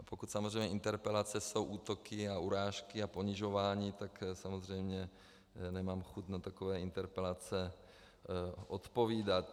A pokud samozřejmě interpelace jsou útoky a urážky a ponižování, tak samozřejmě nemám chuť na takové interpelace odpovídat.